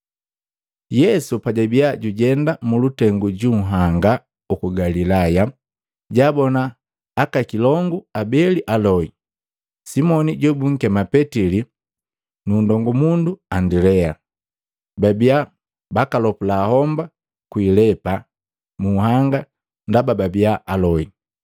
Yesu pajabia jujenda mulutengu ju nhanga uku Galilaya, jaabona aka kilongu abeli aloi, Simoni jobunkema Petili nu nndongumundu Andilea. Babia bakalopula homba kwi ilepa mu nhanga ndaba babia aloi.